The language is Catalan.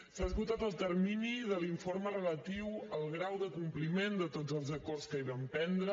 s’ha esgotat el termini de l’informe relatiu al grau de compliment de tots els acords que hi vam prendre